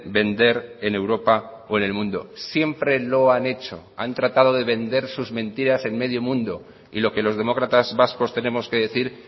vender en europa o en el mundo siempre lo han hecho han tratado de vender sus mentiras en medio mundo y lo que los demócratas vascos tenemos que decir